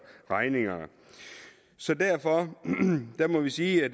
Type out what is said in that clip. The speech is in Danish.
regninger så derfor må vi sige at